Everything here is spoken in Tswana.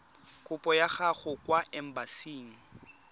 kopo ya gago kwa embasing